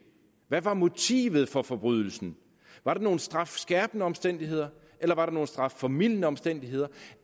hvad var motivet for forbrydelsen var der nogen strafskærpende omstændigheder eller var der nogen strafformildende omstændigheder